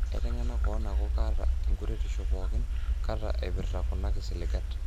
Aitengana kewon aku kata enkuretisho poki kata eipirta kuna kisiligat.